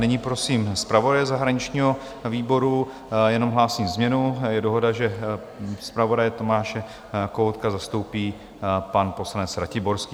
Nyní prosím zpravodaje zahraničního výboru - jenom hlásím změnu, je dohoda, že zpravodaje Tomáše Kohoutka zastoupí pan poslanec Ratiborský.